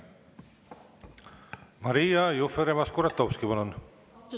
Maria Jufereva-Skuratovski, palun!